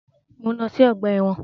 Mọ̀ ń lọ sí ọgbà ẹ̀wọ̀n.